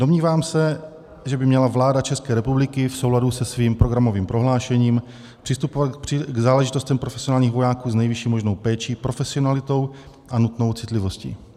Domnívám se, že by měla vláda České republiky v souladu se svým programovým prohlášením přistupovat k záležitostem profesionálních vojáků s nejvyšší možnou péčí, profesionalitou a nutnou citlivostí.